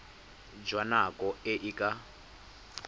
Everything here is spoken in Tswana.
jwa nako e e ka